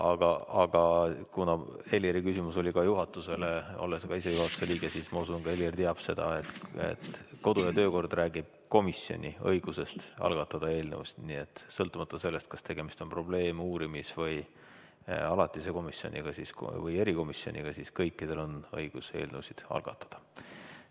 Aga kuna Heliri küsimus oli ka juhatusele, siis ma usun, et olles ka ise juhatuse liige, Helir teab seda, et kodu- ja töökord räägib komisjoni õigusest algatada eelnõusid, sõltumata sellest, kas tegemist on probleem-, uurimis- või alatise komisjoniga või erikomisjoniga, neil kõikidel on õigus eelnõusid algatada.